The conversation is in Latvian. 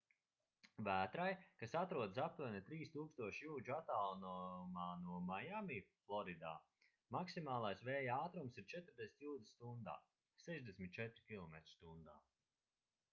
vētrai kas atrodas aptuveni 3000 jūdžu attālumā no maiami floridā maksimālais vēja ātrums ir 40 jūdzes stundā 64 km/h